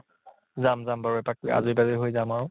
যাম যাম বাৰু তাত, আজি হৈ যাম আৰু ।